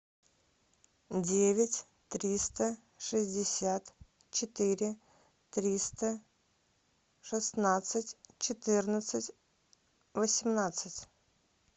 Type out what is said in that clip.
девять триста шестьдесят четыре триста шестнадцать четырнадцать восемнадцать